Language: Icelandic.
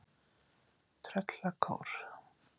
Tröllakór